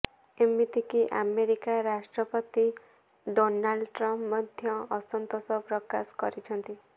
ଏମିତିକି ଆମେରିକା ରାଷ୍ଟ୍ରପତି Donald Trump ମଧ୍ୟ ଅସନ୍ତୋଷ ପ୍ରକାଶ କରିଛନ୍ତି